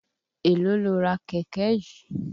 Èló lo ra kẹ̀kẹ́ yìí?